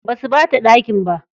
Basu ɓata ɗakin ba.